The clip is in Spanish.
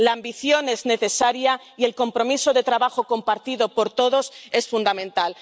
La ambición es necesaria y el compromiso de trabajo compartido por todos es fundamental.